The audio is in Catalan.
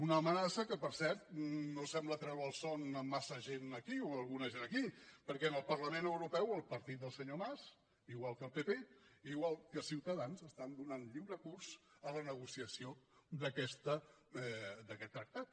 una amenaça que per cert no sembla treure el son a massa gent aquí o a alguna gent aquí perquè en el parlament europeu el partit del senyor mas igual que el pp igual que ciutadans estan donant lliure curs a la negociació d’aquest tractat